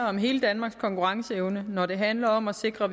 om hele danmarks konkurrenceevne når det handlede om at sikre